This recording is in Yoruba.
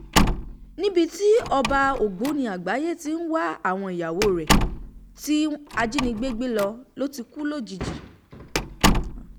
níbi tí ọba ògbóni àgbáyé ti ń wá àwọn ìyàwó rẹ̀ tí ajínigbé gbé lọ ló ti kú lójijì